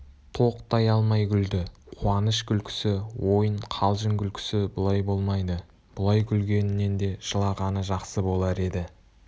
тоқтай алмай күлді қуаныш күлкісі ойын қалжың күлкісі бұлай болмайды бұлай күлгенінен де жылағаны жақсы болар еді